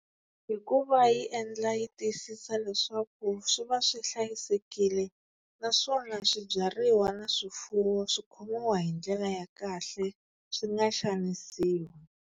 Hikuva yi endla yi tiyisisa leswaku swi va swi hlayisekile, naswona swibyariwa na swifuwo swi khomiwa hi ndlela ya kahle swi nga xanisiwi.